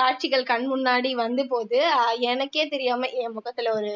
காட்சிகள் கண் முன்னாடி வந்து போகுது அஹ் எனக்கே தெரியாம என் முகத்துல ஒரு